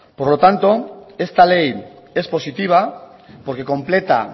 por lo tanto esta ley es positiva porque completa